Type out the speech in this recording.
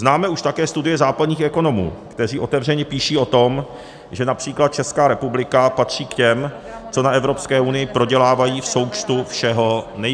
Známe už také studie západních ekonomů, kteří otevřeně píší o tom, že například Česká republika patří k těm, co na Evropské unii prodělávají v součtu všeho nejvíce.